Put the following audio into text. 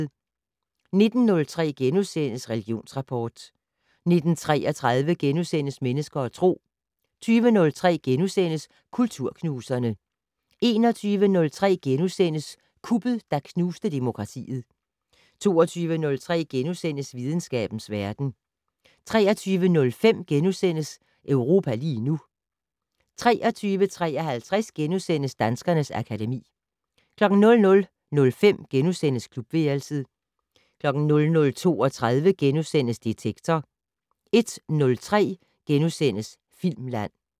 19:03: Religionsrapport * 19:33: Mennesker og Tro * 20:03: Kulturknuserne * 21:03: Kuppet, der knuste demokratiet * 22:03: Videnskabens verden * 23:05: Europa lige nu * 23:53: Danskernes akademi * 00:05: Klubværelset * 00:32: Detektor * 01:03: Filmland *